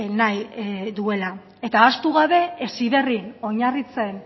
nahi duela eta ahaztu gabe heziberrin oinarritzen